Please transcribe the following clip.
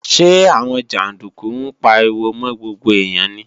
Ṣé àwọn jàndúkú ń pariwo mọ́ gbogbo èèyàn ni?